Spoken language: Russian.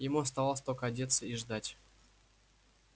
ему оставалось только одеться и ждать